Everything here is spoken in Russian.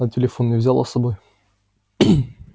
а телефон не взяла с собой